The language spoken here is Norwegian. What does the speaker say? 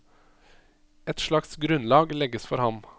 Et slags grunnlag legges for ham.